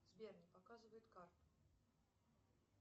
сбер не показывает карту